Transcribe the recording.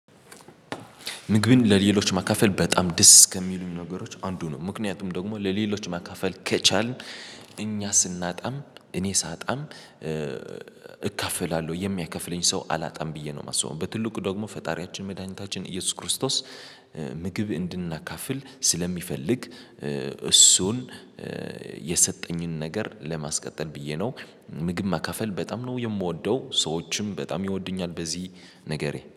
ምግብን ለሌሎች ማካፈል በጣም ደስ ከሚሉኝ ነገሮች አንዱ ነው ምክንያቱም ደግሞ ለሌሎች ማካፈል ከቻልን እኛ ስናጣም እኔ ሳጣም እካፍላለሁ የሚያከፍለኝ ሰው አላጣም ብዬ ነው። የማስበው በትልቁ ደግሞ ፈጣሪያችን መድኃኒታችን ኢየሱስ ክርስቶስ። ምግብ እንድናካፍል ስለሚፈልግ እሱን የሰጠኝን ነገር ለማስቀጠል ብዬ ነው። ምግብ ማከፈል በጣም ነው የምወደው ሰዎችም በጣም ይወዱኛል በዚህ ነገሬ